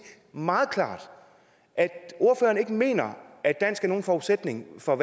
meget klart at ordføreren ikke mener at dansk er nogen forudsætning for